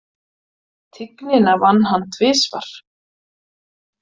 Tignina vann hann tvisvar.